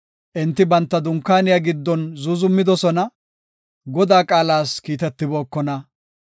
Enti banta dunkaaniya giddon zuuzumidosona Godaa qaalas kiitetibookona.